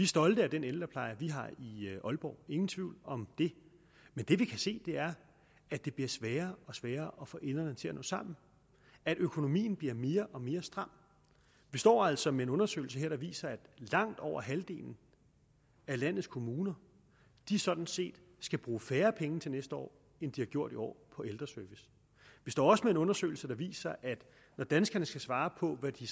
stolte af den ældrepleje vi har i aalborg ingen tvivl om det men det vi kan se er at det bliver sværere og sværere at få enderne til at nå sammen og at økonomien bliver mere og mere stram vi står altså med en undersøgelse der viser at langt over halvdelen af landets kommuner sådan set skal bruge færre penge til næste år end de har gjort i år vi står også med en undersøgelse der viser at når danskerne skal svare på hvad de